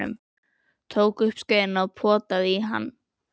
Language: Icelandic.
Tók upp skeiðina og potaði í hann.